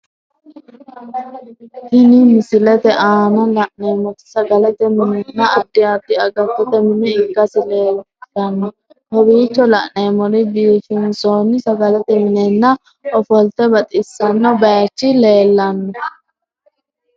Tinni misilete aanna la'neemoti sagalete minenna addi addi agattote mine ikasi leeshano kowiicho la'neemori biifinsoonni sagalete minenna ofollate baxisano bayichi leellano.